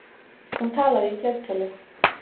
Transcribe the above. Hún talaði í fleirtölu.